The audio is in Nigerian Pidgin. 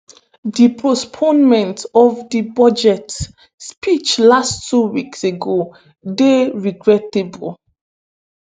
di postponement of di budget speech last two weeks ago dey regrettable.